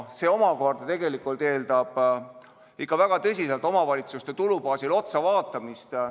See omakorda eeldab väga tõsiselt omavalitsuste tulubaasile otsa vaatamist.